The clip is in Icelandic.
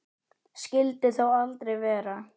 Skyldi þó aldrei vera.